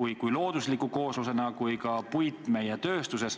ja loodusliku kooslusena kui ka tööstusele.